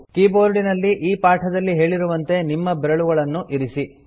ಕೀಬೋರ್ಡಿನಲ್ಲಿ ಈ ಪಾಠದಲ್ಲಿ ಹೇಳಿರುವಂತೆ ನಿಮ್ಮ ಬೆರಳುಗಳನ್ನು ಇರಿಸಿ